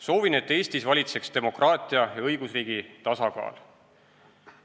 Soovin, et Eestis valitseks demokraatia ja õigusriigi tasakaal.